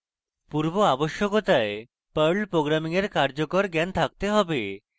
পূর্ব আবশ্যকতায় perl programming এর কার্যকর জ্ঞান থাকতে have